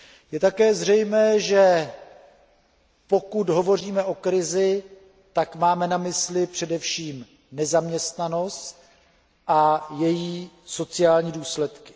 Je také zřejmé, že pokud hovoříme o krizi, tak máme na mysli především nezaměstnanost a její sociální důsledky.